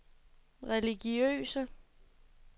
religiøse